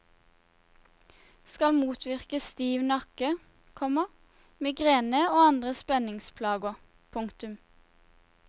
Skal motvirke stiv nakke, komma migrene og andre spenningsplager. punktum